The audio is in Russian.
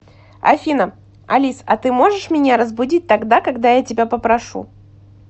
афина алис а ты можешь меня разбудить тогда когда я тебя попрошу